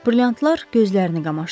Brilyantlar gözlərini qamaşdırdı.